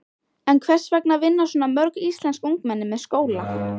En hvers vegna vinna svona mörg íslensk ungmenni með skóla?